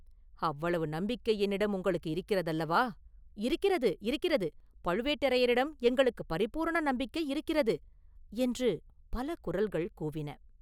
அவ்வளவு நம்பிக்கை என்னிடம் உங்களுக்கு இருக்கிறதல்லவா?” “இருக்கிறது, இருக்கிறது பழுவேட்டரையரிடம் எங்களுக்குப் பரிபூரண நம்பிக்கை இருக்கிறது!” என்று பல குரல்கள் கூவின.